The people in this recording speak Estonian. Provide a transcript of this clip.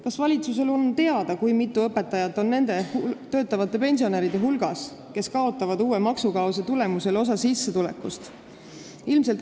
Kas valitsusele on teada, kui mitu õpetajat on nende töötavate pensionäride hulgas, kes kaotavad uue maksukaose tulemusel osa sissetulekust?